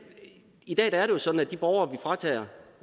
i dag er det jo sådan at de borgere